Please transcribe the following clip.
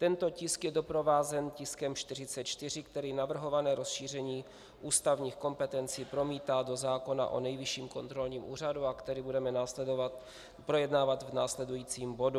Tento tisk je doprovázen tiskem 44, který navrhované rozšíření ústavních kompetencí promítá do zákona o Nejvyšším kontrolním úřadu a který budeme projednávat v následujícím bodu.